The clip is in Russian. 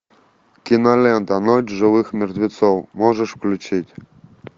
кинолента ночь живых мертвецов можешь включить